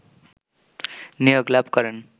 নিয়োগ লাভ করেন